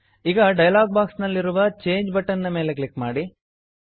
ಈ dialog box ನಲ್ಲಿರುವ ಚಂಗೆ ಚೇಂಜ್ ಬಟನ್ ನ ಮೇಲೆ ಕ್ಲಿಕ್ ಮಾಡಿ